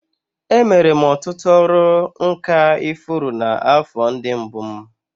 Emere m ọtụtụ ọrụ nka ifuru n'afọ ndị mbụ m